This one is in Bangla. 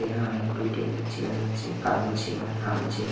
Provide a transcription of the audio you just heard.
এখানে অনেকগুলো টেবিল চেয়ার রয়েছে কালো চেয়ার লাল চেয়ার ।